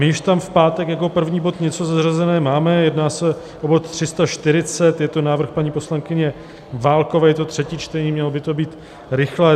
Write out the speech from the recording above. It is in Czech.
My již tam v pátek jako první bod něco zařazené máme, jedná se o bod 340, je to návrh paní poslankyně Válkové, je to třetí čtení, mělo by to být rychlé.